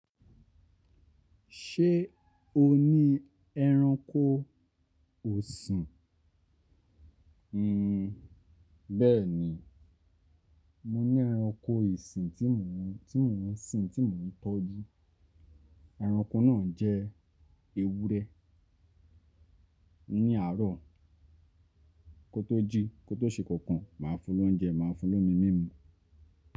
Ṣé o ní ẹranko ọ̀sìn? Nn, bẹẹni, mo ní ẹranko ìsìn tí mò ń, tí mò ń sìn, tí mò ń tọ́jú. Ẹranko náà jẹ ewúrẹ́. Ní àárò kótó jí, kótó ṣe kankan, màá fún lóúnjẹ, màá fún lómi mímu.